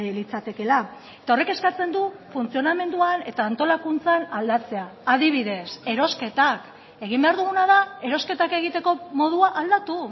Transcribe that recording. litzatekela eta horrek eskatzen du funtzionamenduan eta antolakuntzan aldatzea adibidez erosketak egin behar duguna da erosketak egiteko modua aldatu